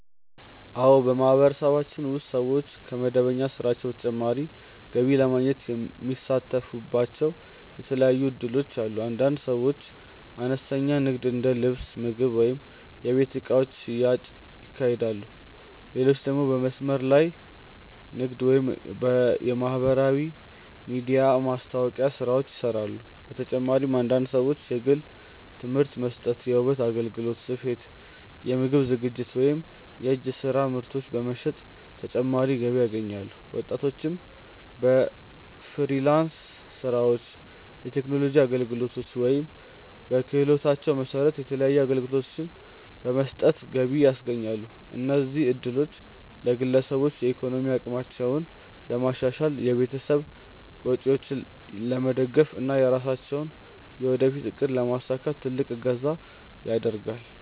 አዎ፣ በማህበረሰባችን ውስጥ ሰዎች ከመደበኛ ስራቸው በተጨማሪ ገቢ ለማግኘት የሚሳተፉባቸው የተለያዩ እድሎች አሉ። አንዳንድ ሰዎች አነስተኛ ንግድ እንደ ልብስ፣ ምግብ ወይም የቤት እቃዎች ሽያጭ ያካሂዳሉ፣ ሌሎች ደግሞ በመስመር ላይ ንግድ ወይም የማህበራዊ ሚዲያ ማስታወቂያ ስራዎችን ይሰራሉ። በተጨማሪም አንዳንድ ሰዎች የግል ትምህርት መስጠት፣ የውበት አገልግሎት፣ ስፌት፣ የምግብ ዝግጅት ወይም የእጅ ስራ ምርቶች በመሸጥ ተጨማሪ ገቢ ያገኛሉ። ወጣቶችም በፍሪላንስ ስራዎች፣ የቴክኖሎጂ አገልግሎቶች ወይም በክህሎታቸው መሰረት የተለያዩ አገልግሎቶችን በመስጠት ገቢ ያስገኛሉ። እነዚህ እድሎች ለግለሰቦች የኢኮኖሚ አቅማቸውን ለማሻሻል፣ የቤተሰብ ወጪዎችን ለመደገፍ እና የራሳቸውን የወደፊት እቅድ ለማሳካት ትልቅ እገዛ ያደርጋል።